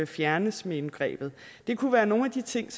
fjernes med indgrebet det kunne være nogle af de ting